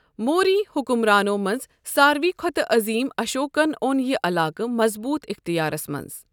موری حُکمرانو منٛز ساروٕے کھوتہٕ عظیٖم اشوکن اوٚن یہِ علاقہٕ مضبوط اِختِیارَس مَنٛز۔